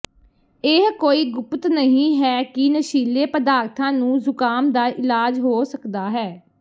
ਇਹ ਕੋਈ ਗੁਪਤ ਨਹੀਂ ਹੈ ਕਿ ਨਸ਼ੀਲੇ ਪਦਾਰਥਾਂ ਨੂੰ ਜ਼ੁਕਾਮ ਦਾ ਇਲਾਜ ਹੋ ਸਕਦਾ ਹੈ